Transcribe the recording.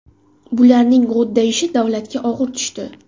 Bularning g‘o‘ddayishi davlatga og‘ir tushdi.